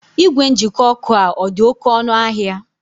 Ìgwè njikọ ọkụ a ọ dị oké ọnụ ahịa?